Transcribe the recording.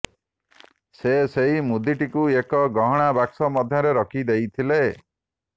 ସେ ସେହି ମୁଦିଟିକୁ ଏକ ଗହଣା ବାକ୍ସ ମଧ୍ୟରେ ରଖିଦେଇଥିଲେ